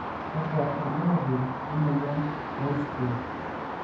kakua irbulabol le moyian e Holzgreve?